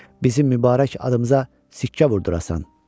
Bizim mübarək adımıza sikkə vurdurasan.